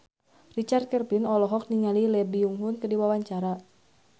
Richard Kevin olohok ningali Lee Byung Hun keur diwawancara